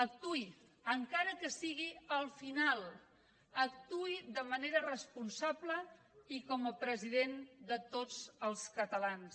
actuï encara que sigui al final actuï de manera responsable i com a president de tots els catalans